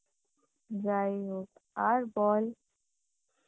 যাইহোক আর বল